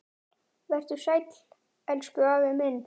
Vertu sæll, elsku afi minn.